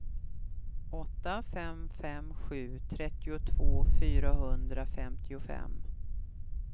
åtta fem fem sju trettiotvå fyrahundrafemtiofem